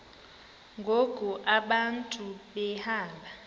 ngoku abantu behamba